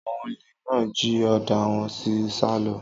Àwon òlé nà jí òdá wón sí sà lọ.